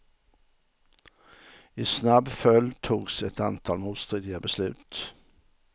I snabb följd togs ett antal motstridiga beslut.